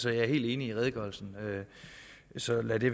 er helt enig i redegørelsen så lad det